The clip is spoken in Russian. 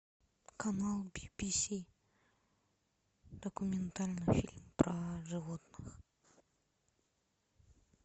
канал би би си документальный фильм про животных